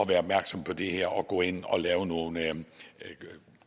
være opmærksomme på det her og gå ind og lave nogle